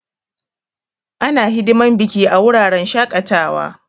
Ana hidiman biki a wuraren shaƙatawa.